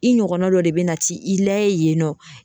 I ɲɔgɔnna dɔ de bɛna ti i layɛ yen nɔ.